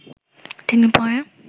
তিনি পরে